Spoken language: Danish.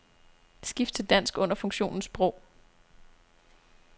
Skift til dansk under funktionen sprog.